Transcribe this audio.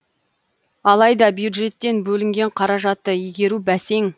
алайда бюджеттен бөлінген қаражатты игеру бәсең